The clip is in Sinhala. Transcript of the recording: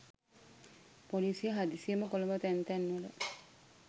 පොලිසිය හදිසියෙම කොළඹ තැන් තැන්වල